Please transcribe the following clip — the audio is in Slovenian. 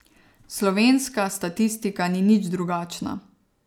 Slovenska statistika ni nič drugačna.